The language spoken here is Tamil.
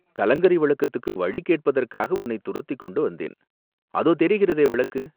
கலங்கரை விளக்கத்துக்கு வழி கேட்பதற்காக உன்னைத் துரத்திக் கொண்டு வந்தேன், அதோ தெரிகிறதே விளக்கு